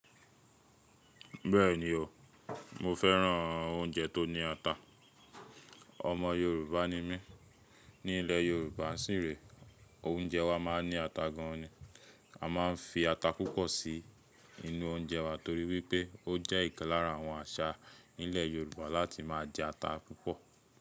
Bẹ́ẹ̀ni o, mo fẹ́ràn oúnjẹ tó ní ata. Ọmọ Yorùbá ni mí. Ní ilẹ̀ Yorùbá sì ré, oúnjẹ wá máa ń ní ata gan ní. A máa ń fi ata púpọ̀ sí inú oúnjẹ wà torí wípé ó jẹ́ ìkan lára àwọn àṣà nílẹ̀ Yorùbá láti máa jẹ ata púpọ̀.